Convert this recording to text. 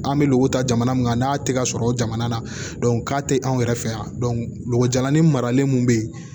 An bɛ lɔgɔw ta jamana mun kan n'a tɛ ka sɔrɔ o jamana na k'a tɛ an yɛrɛ fɛ yan golo jalanin maralen mun bɛ yen